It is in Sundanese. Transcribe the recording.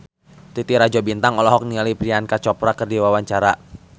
Titi Rajo Bintang olohok ningali Priyanka Chopra keur diwawancara